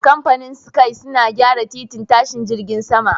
Kamfanin SKY suna gyara titin tashin jirgin sama